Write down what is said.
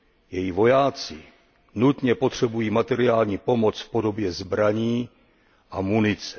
Její vojáci nutně potřebují materiální pomoc v podobě zbraní a munice.